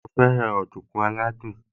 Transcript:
Mo fẹ́ràn ọ̀dùnkún aládùn